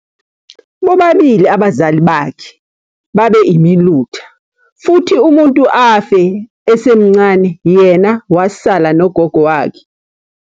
Bobabili abazali bakhe babe imilutha, futhi umuntu afe esemncane yena wasala nogogo wakhe.